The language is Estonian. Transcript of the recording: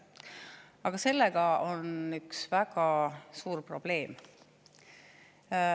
Aga sellega kaasneb üks väga suur probleem.